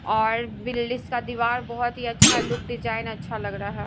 और बिल्ड इसका दीवार बहुत ही अच्छा लुक डिज़ाइन अच्छा लग रहा है।